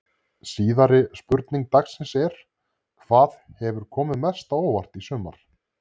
Síðari spurning dagsins er: Hvað hefur komið mest á óvart í sumar?